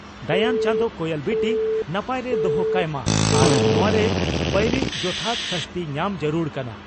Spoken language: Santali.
ᱫᱟᱭᱟᱱ ᱪᱟᱸᱫᱚ ᱠᱚᱭᱮᱞ ᱵᱤᱴᱤ ᱱᱟᱯᱟᱭᱨᱮ ᱫᱚᱦᱚ ᱠᱟᱭ ᱢᱟ ᱟᱨ ᱱᱚᱣᱟ ᱨᱮᱱ ᱵᱟᱹᱭᱨᱤ ᱡᱚᱛᱷᱟᱛ ᱥᱟᱹᱥᱛᱤ ᱧᱟᱢ ᱡᱟᱹᱨᱩᱲ ᱠᱟᱱᱟ ᱾